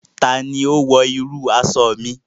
Ta ni ó wọ irú aṣọ mi?